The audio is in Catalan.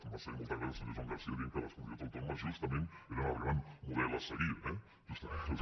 m’ha fet molta gràcia el senyor joan garcia que deia que les comunitats autònomes justament eren el gran model a seguir eh justament